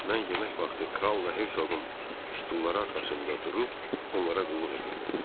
Mən yemək vaxtı kralla herzoun stulları arxasında durub onlara qulluq edirdim.